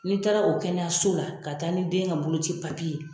N'i taara o kɛnɛyaso la ka taa ni den ka boloci ye.